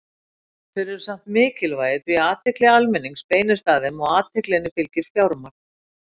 Þeir eru samt mikilvægir því athygli almennings beinist að þeim og athyglinni fylgir fjármagn.